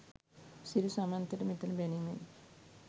සිරි සමන්තට මෙතන බැනිමෙන්